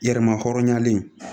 Yɛrɛmahɔrɔnyalen